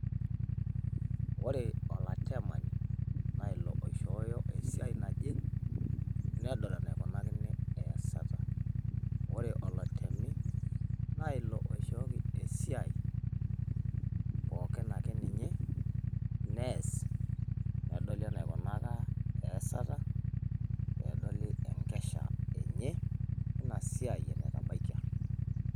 Ore olatemani naa ilo oishooyo esia naje nedol kaji eikunakini eeyasata ore olotemi naa ilo oishooki esiai pookin ake ninye neas nedoli enaikunaka eeyasata peedoili enkesha enye eina siai enetabaikia.